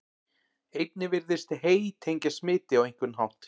Einnig virðist hey tengjast smiti á einhvern hátt.